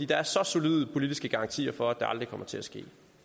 der er så solide politiske garantier for at det aldrig kommer til at ske